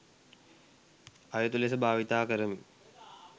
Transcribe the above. අයුතු ලෙස භාවිතා කරමින්